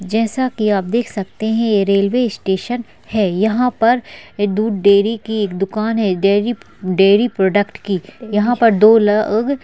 जैसा की आप देख सकते है कि ये रेलवे स्टेशन है यहाँ पर दूध डेरी की एक दुकान है डेरी डेरी प्रोडक्ट की यहाँ पर दो लोग--